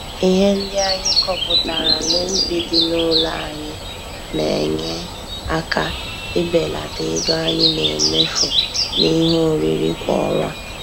Ihe ndị anyị kọpụtara n'ubi dị n'ụlọ anyị na-enye aka ibelata ego anyị na-emefu n'ihe oriri kwa ọnwa.